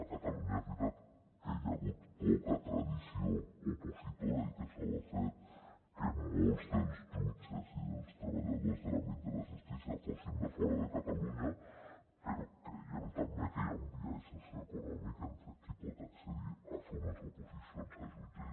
a catalunya és veritat que hi ha hagut poca tradició opositora i que això ha fet que molts dels jutges i dels treballadors de l’àmbit de la justícia fossin de fora de catalunya però creiem també que hi ha un biaix socioeconòmic entre qui pot accedir a fer unes oposicions a jutge